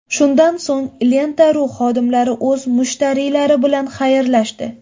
Shundan so‘ng Lenta.ru xodimlari o‘z mushtariylari bilan xayrlashdi.